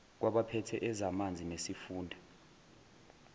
kwabaphethe ezamanzi nesifunda